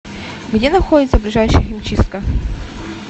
где находится ближайшая химчистка